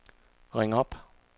ring op